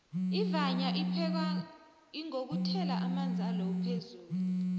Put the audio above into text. ivanya iphekwa ingokuthela amanzi alowu phezulu